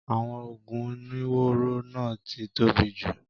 Àwọn oògùn oníwóró náà ti tóbi jù.